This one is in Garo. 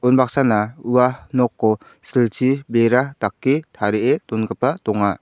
unbaksana ua noko silchi bera dake tarie dongipa donga.